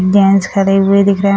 gents खड़े हुए दिख रहे --